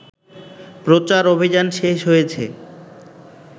প্রচার অভিযান শেষ হয়েছে